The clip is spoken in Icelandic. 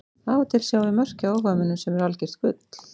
Af og til sjáum við mörk hjá áhugamönnum sem eru algjört gull.